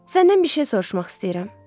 Səndən bir şey soruşmaq istəyirəm.